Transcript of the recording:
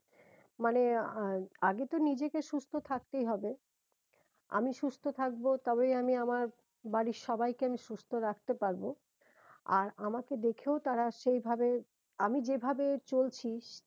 আগে তো নিজেকে সুস্থ থাকতেই হবে আমি সুস্থ থাকবো তবেই আমি আমার বাড়ির সবাইকে আমি সুস্থ রাখতে পারবো আর আমাকে দেখেও তারা সেই ভাবে আমি যে ভাবে চলছি